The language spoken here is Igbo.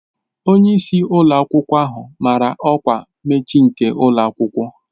Onye isi ụlọ akwụkwọ ahụ mara ọkwa mmechi nke ụlọ akwụkwọ